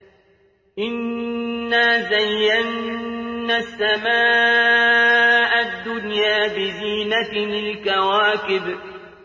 إِنَّا زَيَّنَّا السَّمَاءَ الدُّنْيَا بِزِينَةٍ الْكَوَاكِبِ